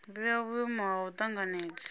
vhea vhuimo ha u tanganedza